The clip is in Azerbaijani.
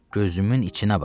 Gözümün içinə bax.